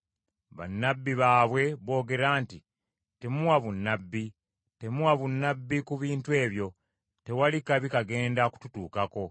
Bannabbi baabwe boogera nti, “Temuwa bunnabbi, Temuwa bunnabbi ku bintu ebyo; tewali kabi kagenda kututuukako.”